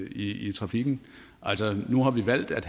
i trafikken nu har vi valgt at